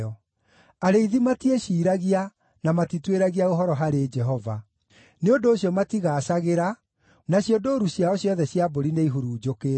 Arĩithi matiĩciiragia, na matituĩragia ũhoro harĩ Jehova; nĩ ũndũ ũcio matigaacagĩra, nacio ndũũru ciao ciothe cia mbũri nĩihurunjũkĩte.